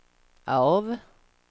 av